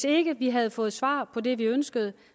ikke havde fået svar på det vi ønskede